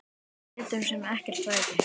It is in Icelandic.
Við létum sem ekkert væri.